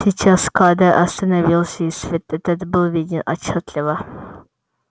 сейчас кадр остановился и свет этот был виден отчётливо